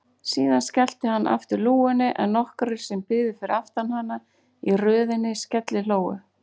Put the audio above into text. Síðan skellti hann aftur lúgunni en nokkrir sem biðu fyrir aftan hana í röðinni skellihlógu.